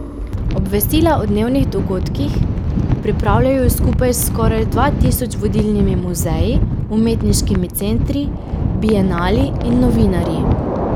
Obvestila o dnevnih dogodkih pripravljajo skupaj s skoraj dva tisoč vodilnimi muzeji, umetniškimi centri, bienali in novinarji.